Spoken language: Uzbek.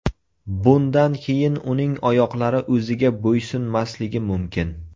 Bundan keyin uning oyoqlari o‘ziga bo‘ysunmasligi mumkin.